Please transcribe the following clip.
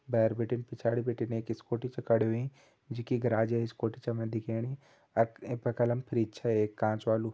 भैर बिटिन पिछाड़ी बिटिन एक स्कूटी छ खड़ी होईं यी के गैराजे स्कूटी छ हमे दिखेणीफ्रिज छ एक कांच वालू।